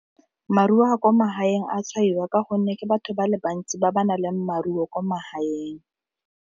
Maruo a kwa magaeng a tshwaiwa ka gonne ke batho ba le bantsi ba ba nang le maruo kwa magaeng.